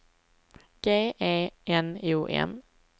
G E N O M